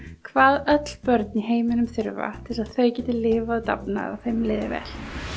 hvað öll börn í heiminum þurfa til að þau geti lifað og dafnað og þeim líði vel